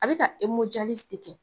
A bi ka de kɛ.